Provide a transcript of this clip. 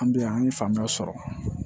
An bɛ yan an ye faamuya sɔrɔ